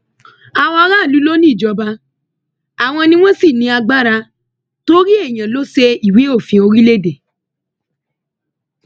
àwọn aráàlú ló ní ìjọba àwọn ni wọn sì ní agbára torí èèyàn ló ṣe ìwé òfin orílẹèdè